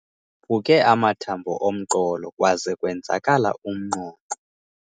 phuke amathambo omqolo kwaze kwenzakala umnqonqo.